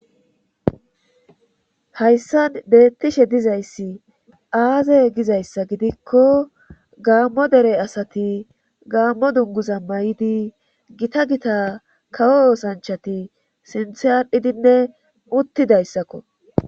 hayssan bettishe dizayssi aaze gizayssa gidikko gaammo dere asati gaammo dunguza may7idi gita gita kawo oosanchati sinthe adhidinne uttidayssakko